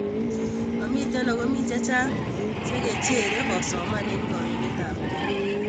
Momitei ago mi chechang chekecherei kosoman eng kogiletabkei